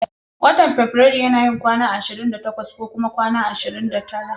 Watan fabirairu yana yin kwana ashirin da takwas ko kuma kwana ashirin da tara.